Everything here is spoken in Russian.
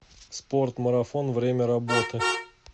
спорт марафон время работы